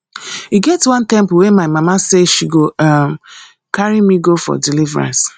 e get one temple wey my mama say she go um carry me go for deliverance